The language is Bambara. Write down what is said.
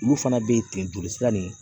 Olu fana bɛ ten joli sira nin